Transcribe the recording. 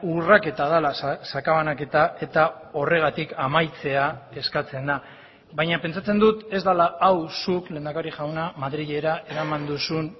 urraketa dela sakabanaketa eta horregatik amaitzea eskatzen da baina pentsatzen dut ez dela hau zuk lehendakari jauna madrilera eraman duzun